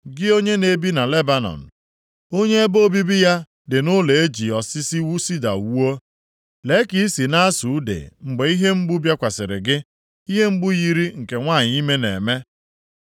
Gị onye na-ebi na Lebanọn, + 22:23 Nke a bụ ụlọeze ahụ dị na Jerusalem, hụ nke a na \+xt 1Ez 7:2\+xt* onye ebe obibi ya dị nʼụlọ e ji osisi sida wuo, lee ka i si + 22:23 Akwụkwọ ndị ọzọ ga-ede; lee ka ị si bụrụ onye a ga-emere ebere mgbe ihe mgbu na-asụ ude mgbe ihe mgbu bịakwasịrị gị, ihe mgbu yiri nke nwanyị ime na-eme.